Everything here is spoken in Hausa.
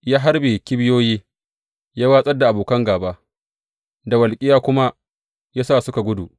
Ya harbe kibiyoyi, ya wartsar da abokan gāba, da walƙiya kuma ya sa suka gudu.